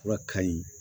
Fura ka ɲi